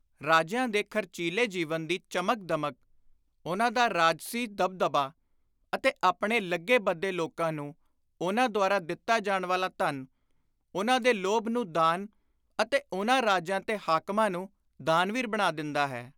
ਰਾਜਿਆਂ ਦੇ ਖ਼ਰਚੀਲੇ ਜੀਵਨ ਦੀ ਚਮਕ-ਦਮਕ, ਉਨ੍ਹਾਂ ਦਾ ਰਾਜਸੀ ਦਬ-ਦਬਾ ਅਤੇ ਆਪਣੇ ਲੱਗੇ-ਬੱਧੇ ਲੋਕਾਂ ਨੂੰ ਉਨ੍ਹਾਂ ਦੁਆਰਾ ਦਿੱਤਾ ਜਾਣ ਵਾਲਾ ਧਨ, ਉਨ੍ਹਾਂ ਦੇ ਲੋਭ ਨੂੰ ਦਾਨ ਅਤੇ ਉਨ੍ਹਾਂ ਰਾਜਿਆਂ ਤੇ ਹਾਕਮਾਂ ਨੂੰ ਦਾਨਵੀਰ ਬਣਾ ਦਿੰਦਾ ਹੈ।